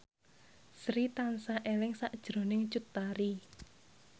Sri tansah eling sakjroning Cut Tari